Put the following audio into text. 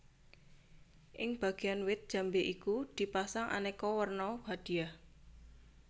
Ing Bagean wit jambe iku di pasang aneka werna hadiah